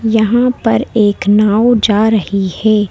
यहां पर एक नाव जा रही है।